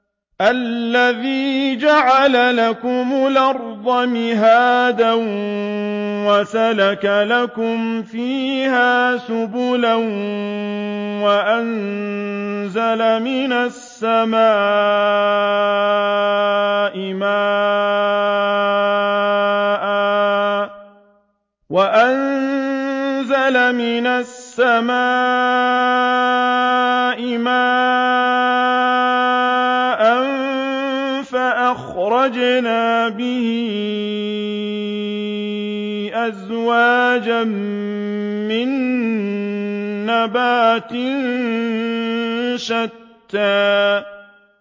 الَّذِي جَعَلَ لَكُمُ الْأَرْضَ مَهْدًا وَسَلَكَ لَكُمْ فِيهَا سُبُلًا وَأَنزَلَ مِنَ السَّمَاءِ مَاءً فَأَخْرَجْنَا بِهِ أَزْوَاجًا مِّن نَّبَاتٍ شَتَّىٰ